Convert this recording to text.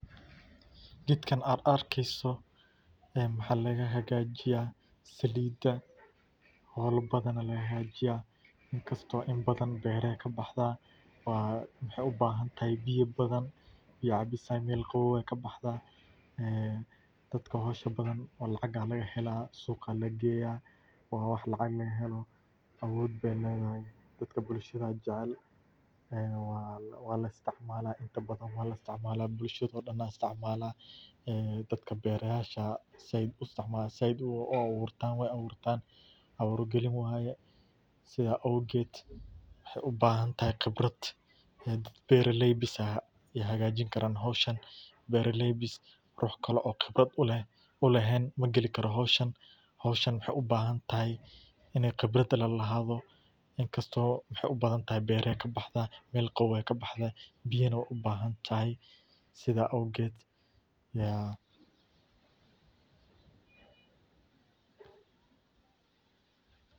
Geedkan ad arkeeyso ee maxa laga hagajiya Saliida howla badan aya lagahagajiya inkasto in badan beera ay kabaxda wa maxay ubahanahay Biyo badan ii cabisan yal qabow ayay kabaxda ee dadka howsha badan lacag aya lagahela Suuqa aya lageeya wa wax lacag lagaheelo awood bey ledahay, Dadka bulshada a jecel e wala isticmala bulshado daan aya isticmala dadka Berayasha a zaid u abuurtan abuur galin waya. Sida awgeed waxay ubahantahy khibrad bera leey bas a hagajin karan howshan beera ley bas ruux kale o khibrad u lehen magali karo howshan ,howshan maxay ubahantahay ina khibrad lala lahado inkasto maxay ubadan tahay bera ay kabaxda meel qabow ay kabaxda biyana wey ubahantahay sida awgeed ya.